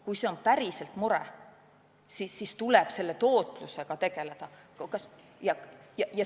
Kui see on tõesti mure, siis tuleb selle tootlusega tegeleda.